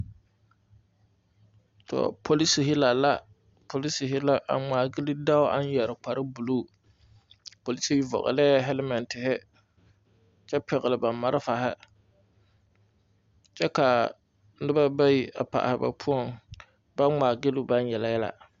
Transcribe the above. Tɔɔ polisire la la polisire la a ŋmma gyile dɔɔ aŋ yɛre kpare buluu a polisire vɔglɛɛ halmɛɛtire kyɛ pɛgle ba malfare kyɛ kaa noba bayi a paale ba poɔŋ ba poɔŋ baŋ ŋmaa gyile baŋ yele yɛlɛ.